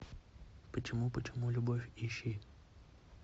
почему почему любовь ищи